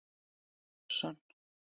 Óskar Halldórsson.